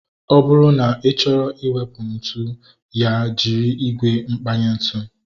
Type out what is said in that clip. Ọ bụrụ na ị chọrọ iwepu ntụ, ya jiri ígwè mkpanye ntu